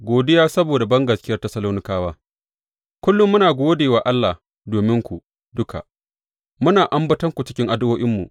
Godiya saboda bangaskiyar Tessalonikawa Kullum muna gode wa Allah dominku duka, muna ambatonku cikin addu’o’inmu.